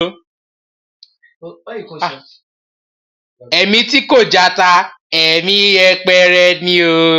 Ẹ̀mí tí kò jata, ẹ̀mí yẹpẹrẹ ni.